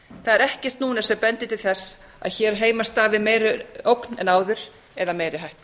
er ekkert núna sem bendir til þess að hér heima hafi meiri ógn en áður eða eigi hætta